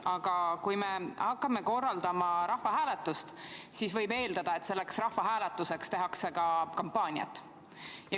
Aga kui me hakkame korraldama rahvahääletust, siis võib eeldada, et selleks rahvahääletuseks tehakse ka kampaaniat.